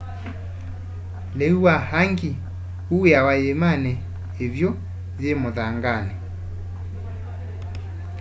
liu wa hangi uwiawa yiimani ivyu yi muthangani